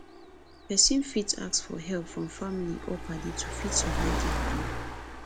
person fit ask for help from family or paddy to fit survive di wahala